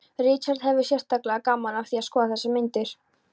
Richard hafði sérstaklega gaman af því að skoða þessar myndir